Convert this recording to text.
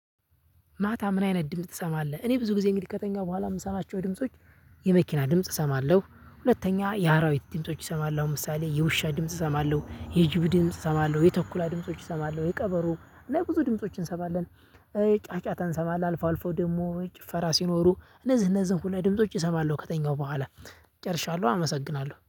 ማታ ምን አይነት ድምጽ ትሰማለህ? እኔ ብዙ ጊዜ እንግዲህ ከተኛሁ በኋላ የምሰማቸው ድምጾች የመኪና ድምጽ እሰማለሁ። ሁለተኛ የአራዊት ድምጾች እሰማሎው ለምሳሌ የውሻ ድምጽ እሰማለሁ የጅብ ድምጽ እሰማለሁ የተኩላ ድምጾች እሰማለሁ የቀበሩ እና ብዙ ድምፆችን እሰማለን። ጫጫታ እንሰማለን አልፎ አልፎ ደግሞ ጭፈራ ሲኖሩ እነዚህ እነዚህን ሁሏ ድምጾች እሰማለሁ ከተኛው በኋለ ጨርሻለሁ። አመሰግናለሁ